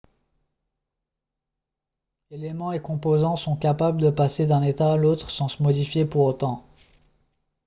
eléments et composants sont capables de passer d'un état à l'autre sans se modifier pour autant